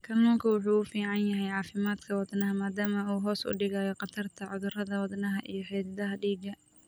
Kalluunku waxa uu u fiican yahay caafimaadka wadnaha maadaama uu hoos u dhigo khatarta cudurrada wadnaha iyo xididdada dhiigga.